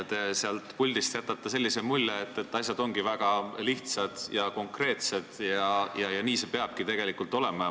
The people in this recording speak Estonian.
Te jätate seal puldis sellise mulje, et asjad ongi väga lihtsad ja konkreetsed ja nii see peabki olema.